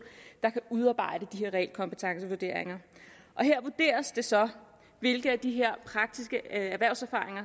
der kan udarbejde de her realkompetencevurderinger her vurderes det så hvilke af de her praktiske erhvervserfaringer